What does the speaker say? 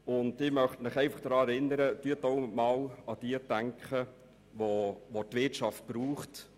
Und ich möchte Sie daran erinnern, auch einmal an diejenigen zu denken, welche die Wirtschaft braucht.